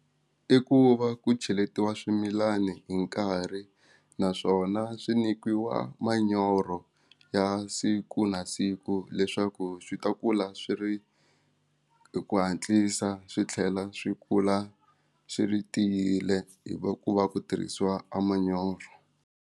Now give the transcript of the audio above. I ku va ku cheletiwa swimilani hi nkarhi naswona swi nyikiwa manyoro ya siku na siku leswaku swi ta kula swi ri hi ku hatlisa swi tlhela swi kula swi ri tiyile hi ku va ku tirhisiwa a manyoro.